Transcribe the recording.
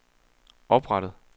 oprettet